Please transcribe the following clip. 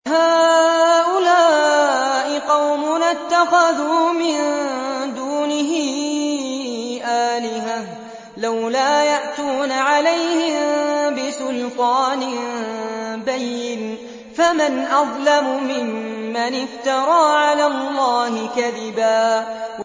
هَٰؤُلَاءِ قَوْمُنَا اتَّخَذُوا مِن دُونِهِ آلِهَةً ۖ لَّوْلَا يَأْتُونَ عَلَيْهِم بِسُلْطَانٍ بَيِّنٍ ۖ فَمَنْ أَظْلَمُ مِمَّنِ افْتَرَىٰ عَلَى اللَّهِ كَذِبًا